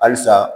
Halisa